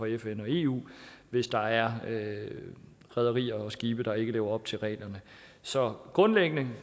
fn og eu hvis der er rederier og skibe der ikke lever op til reglerne så grundlæggende